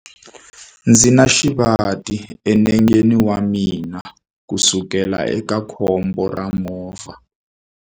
Ndzi na xivati enengeni wa mina kusukela eka khombo ra movha.